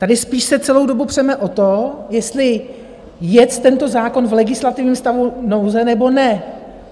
Tady spíš se celou dobu přeme o tom, jestli jet tento zákon v legislativním stavu nouze, nebo ne.